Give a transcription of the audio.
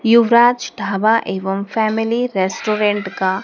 युवराज ढाबा एवं family restaurant का--